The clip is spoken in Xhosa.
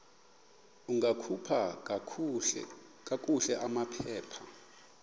ungakhupha kakuhle amaphepha